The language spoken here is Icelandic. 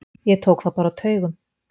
Ég tók þá bara á taugum.